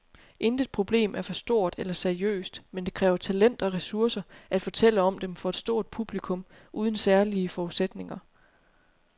Intet problem er for stort eller seriøst, men det kræver talent og ressourcer at fortælle om dem for et stort publikum uden særlige forudsætninger.